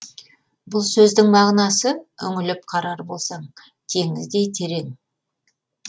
бұл сөздің мағынасы үңіліп қарар болсаң теңіздей терең